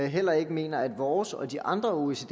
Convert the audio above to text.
heller ikke mener at vores og de andre oecd